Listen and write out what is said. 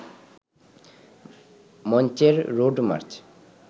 মঞ্চের road March